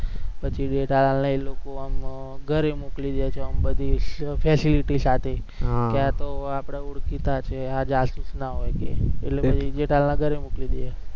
પછી જેઠાલાલને ઈ લોકો એમ ઘરે મોકલી દે છે એમ બધું facility સાથે કે આ તો આપણા ઓળખીતા છે, આ જાસૂસ ના હોય કે એટલે જેઠાલાલને ઘરે મોકલી દે